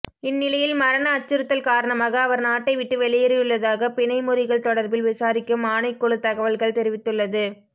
இந்நிலையில் மரண அச்சுறுத்தல் காரணமாக அவர் நாட்டை விட்டு வெளியேறியுள்ளதாக பிணை முறிகள் தொடர்பில் விசாரிக்கும் ஆணைக்குழு தகவல்கள் தெரிவித்துள்ளது